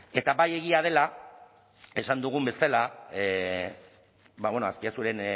eta bai egia dela esan dugun bezala azpiazuren